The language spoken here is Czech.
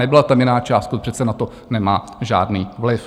Nebyla tam jiná částka, to přece na to nemá žádný vliv.